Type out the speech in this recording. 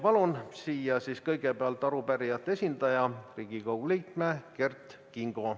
Palun siia kõigepealt arupärijate esindaja, Riigikogu liikme Kert Kingo.